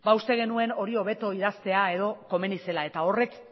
uste genuen hori hobeto idaztea komeni zela eta horrek